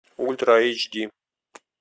ультра эйч ди